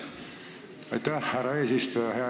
Aitäh, härra eesistuja!